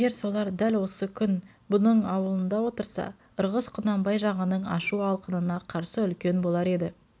егер солар дәл осы күн оұның аулында отырса ырғыз құнанбай жағының ашу-алқынына қарсы үлкен болар еді